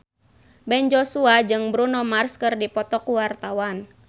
Ben Joshua jeung Bruno Mars keur dipoto ku wartawan